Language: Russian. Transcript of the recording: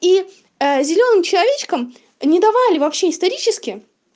и а зелёным человечкам не давали вообще исторически